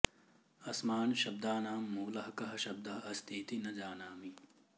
अस्मान् शब्दानां मूलः कः शब्दः अस्ति इति न जानामि